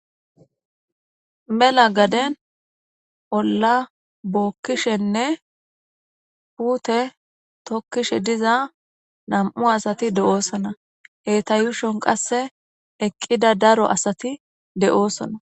Mela gaden olla bokishenne puute tookishe diza nam'u asati dosona. Eta yuushon qaseka eqida cora asati de'osona